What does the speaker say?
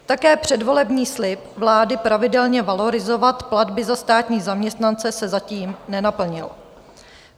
Také předvolební slib vlády pravidelně valorizovat platby za státní zaměstnance se zatím nenaplnil.